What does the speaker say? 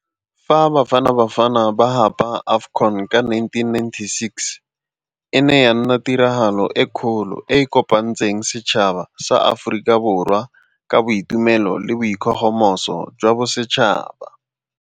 Fa Bafana Bafana ba gapa AFCON ka nineteen ninety-six, e ne ya nna tiragalo e kgolo e e kopantseng setšhaba sa Aforika Borwa ka boitumelo le boikgogomoso jwa bosetšhaba.